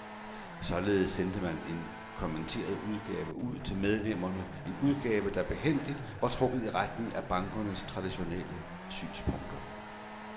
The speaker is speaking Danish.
Og således sendte man en kommenteret udgave ud til medlemmerne, en udgave, der behændigt var trukket i retning af bankernes traditionelle synspunkter.